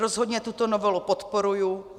Rozhodně tuto novelu podporuji.